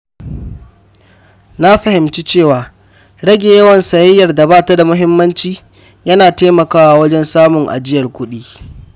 Na fahimci cewa rage yawan sayayyar da ba ta da muhimmanci yana taimakawa wajen samun ajiyar kuɗi.